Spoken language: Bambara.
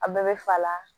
A bɛɛ bɛ fa la